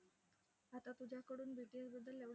आता तुझ्याकडून BTS बद्दल एवढं